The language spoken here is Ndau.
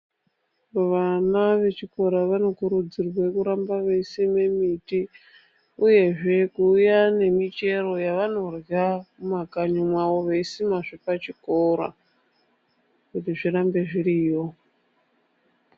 Vana vechikora vanokurudzirwe kuramba veyi sime miti uyezve kuuya nemichero yavanorya mumakanyi mwawo veyi simazve pachikora kuti zvirambe zviriyo.